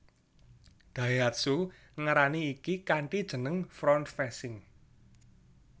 Daihatsu ngarani iki kanthi jeneng front facing